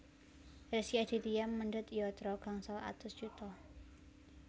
Rezky Aditya mendhet yatra gangsal atus yuta